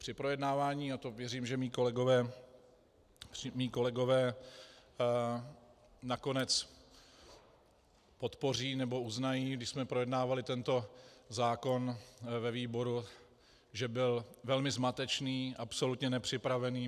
Při projednávání - a to věřím, že mí kolegové nakonec podpoří nebo uznají - když jsme projednávali tento zákon ve výboru, že byl velmi zmatečný, absolutně nepřipravený.